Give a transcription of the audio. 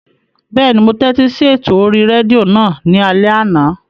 Bẹ́ẹ̀ni, mo tẹ́tí sí ètò orí rédíò náà ní alẹ́ àná